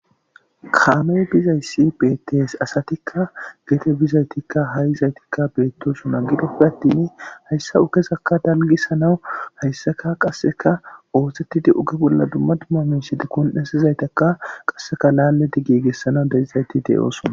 kaamey bizayssi beettees asatikka geete bizaytikka ha7izaytikka beettosuma gidofe attini hayssa ukesakka dalgisanawu hayssaka qasseka ooxettidi uge bolla dumma dumma minshide kon7esizaytakka qasseka laalle di giigessana dezizayti de7oosona